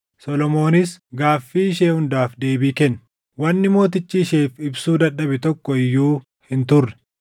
Solomoonis gaaffii ishee hundaaf deebii kenne; wanni mootichi isheef ibsuu dadhabe tokko iyyuu hin turre.